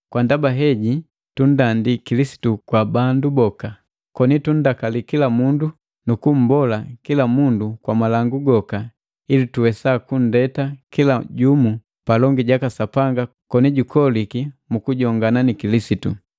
Kwa ndaba heji tunndandi Kilisitu kwa bandu boka, koni tunndakali kila mundu nu kummbola kila mundu kwa malangu goka ili tuwesa kunndeta kila jumu palongi jaka Sapanga koni jukoliki mu kujongana ni Kilisitu.